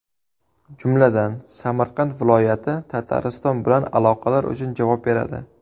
Jumladan, Samarqand viloyati Tatariston bilan aloqalar uchun javob beradi.